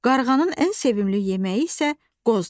Qarğanın ən sevimli yeməyi isə qozdur.